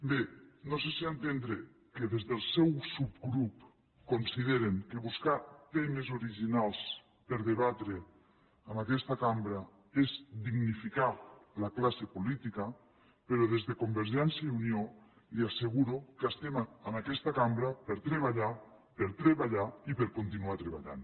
bé no sé si entendre que des del seu subgrup consideren que buscar temes originals per a debatre en aquesta cambra és dignificar la classe política però des de convergència i unió li asseguro que estem en aquesta cambra per treballar per treballar i per continuar treballant